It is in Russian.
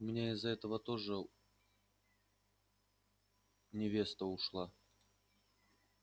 у меня из-за этого тоже невеста ушла